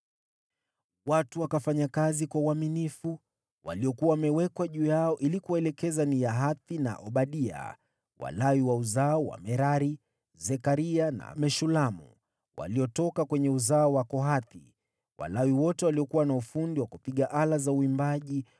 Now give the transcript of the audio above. Watu wakafanya kazi kwa uaminifu. Waliokuwa wamewekwa juu yao ili kuwaelekeza ni Yahathi na Obadia, Walawi wa uzao wa Merari, Zekaria na Meshulamu, waliotoka kwenye uzao wa Kohathi. Walawi wote waliokuwa na ufundi wa kupiga ala za uimbaji,